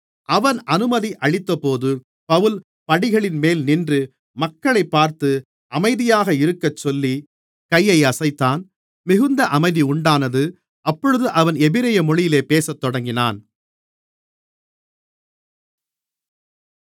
அவன் அனுமதி அளித்தபோது பவுல் படிகளின்மேல் நின்று மக்களைப் பார்த்து அமைதியாக இருக்கச்சொல்லி கையை அசைத்தான் மிகுந்த அமைதி உண்டானது அப்பொழுது அவன் எபிரெய மொழியிலே பேசத்தொடங்கினான்